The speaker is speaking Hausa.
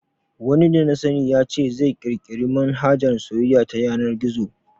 Wani dana sani ya ce zai kirkiri manhajar soyayya ta yanar gizo